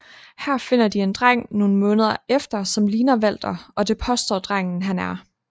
Her finder de en dreng nogle måneder efter som ligner Walter og det påstår drengen han er